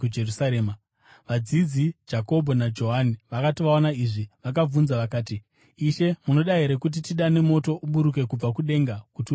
Vadzidzi Jakobho naJohani vakati vaona izvi, vakabvunza vakati, “Ishe, munoda here kuti tidane moto uburuke kubva kudenga kuti uvaparadze?”